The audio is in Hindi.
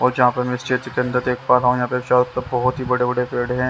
और जहाँ पर मैं इस क्षेत्र के अंदर देख पा रहा हूँ यहाँ पर बहुत ही बड़े-बड़े पेड़ हैं।